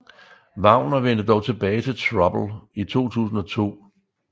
Wagner vendte dog tilbage til Trouble i 2002